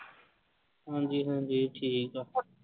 ਹਾਂਜੀ ਹਾਂਜੀ ਠੀਕ ਆ।